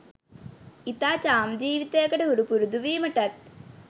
ඉතා චාම් ජීවිතයකට හුරු පුරුදු වීමටත්